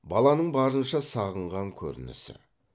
баланың барынша сағынған көрінісі